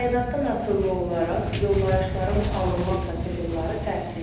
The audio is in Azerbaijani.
Təyinattan asılı olaraq yollayışların alınma prosedurları fərqlidir.